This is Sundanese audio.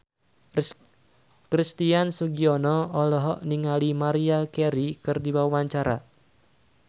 Christian Sugiono olohok ningali Maria Carey keur diwawancara